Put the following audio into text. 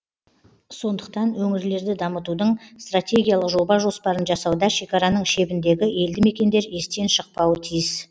сондықтан өңірлерді дамытудың стратегиялық жоба жоспарын жасауда шекараның шебіндегі елді мекендер естен шықпауы тиіс